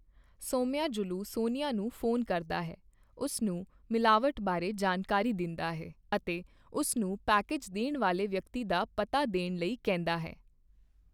ਸੋਮਯਾਜੁਲੂ ਸੋਨੀਆ ਨੂੰ ਫ਼ੋਨ ਕਰਦਾ ਹੈ, ਉਸ ਨੂੰ ਮਿਲਾਵਟ ਬਾਰੇ ਜਾਣਕਾਰੀ ਦਿੰਦਾ ਹੈ ਅਤੇ ਉਸ ਨੂੰ ਪੈਕੇਜ ਦੇਣ ਵਾਲੇ ਵਿਅਕਤੀ ਦਾ ਪਤਾ ਦੇਣ ਲਈ ਕਹਿੰਦਾ ਹੈ।